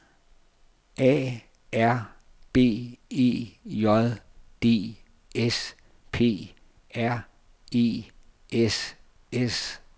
A R B E J D S P R E S S E T